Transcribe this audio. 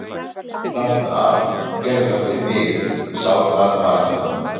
Láttu af, gerðu það fyrir mig, sárbað Marta.